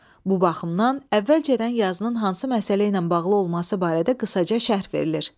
Bu baxımdan əvvəlcədən yazının hansı məsələ ilə bağlı olması barədə qısaca şərh verilir.